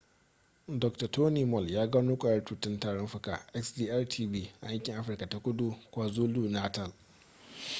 dokta tony moll ya gano kwayar cutar tarin fuka xdr-tb a yankin afirka ta kudu kwazulu-natal